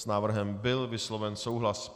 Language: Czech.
S návrhem byl vysloven souhlas.